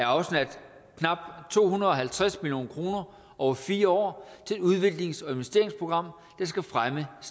afsat knap to hundrede og halvtreds million kroner over fire år til et udviklings og investeringsprogram der skal fremme og